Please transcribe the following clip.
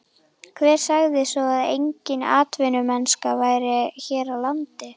Hver sagði svo að engin atvinnumennska væri hér á landi?